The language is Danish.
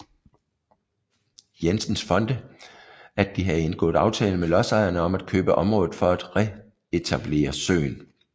Jensens Fonde at de havde indgået aftale med lodsejerne om at købe området for at retablere søen